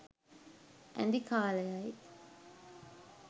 ඇඳි කාලයයි.